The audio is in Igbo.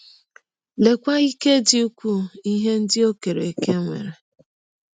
Leekwa ike dị ụkwụụ ihe ndị ọ kere eke nwere!